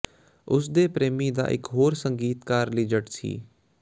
ਉਸ ਦੇ ਪ੍ਰੇਮੀ ਦਾ ਇਕ ਹੋਰ ਸੰਗੀਤਕਾਰ ਲੀਜ਼ਟ ਸੀ